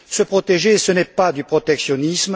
Se protéger n'est pas du protectionnisme